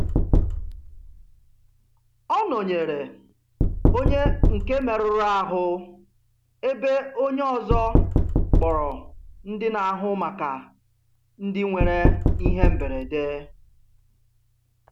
Ọ nọnyeere onye nke merụrụ ahụ ebe onye ọzọ kpọrọ ndị na-ahụ maka ndị nwere ihe mberede.